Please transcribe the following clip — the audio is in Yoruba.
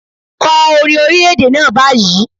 Kọ orin orílẹ̀-èdè náà báyìí.